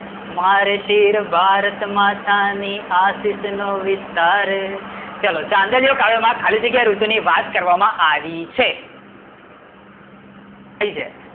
મારે શિર ભારતમાતા ની આશિષ નો વિસ્તાર, ચલો ચાંદલિયો કાવ્ય માં ખાલી જગ્યા ઋતુ ની વાત કરવામાં આવી છે થઇ જાય